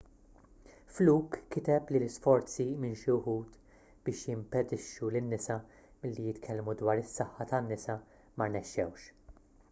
fluke kiteb li l-isforzi minn xi wħud biex jimpedixxu lin-nisa milli jitkellmu dwar is-saħħa tan-nisa ma rnexxewx